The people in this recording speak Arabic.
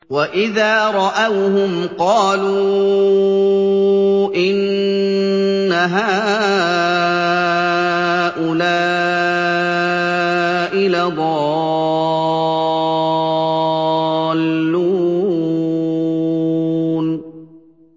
وَإِذَا رَأَوْهُمْ قَالُوا إِنَّ هَٰؤُلَاءِ لَضَالُّونَ